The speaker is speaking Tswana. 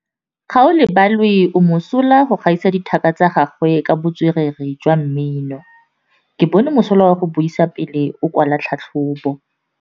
Gaolebalwe o mosola go gaisa dithaka tsa gagwe ka botswerere jwa mmino. Ke bone mosola wa go buisa pele o kwala tlhatlhobô.